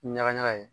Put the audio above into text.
Ɲaga ɲaga ye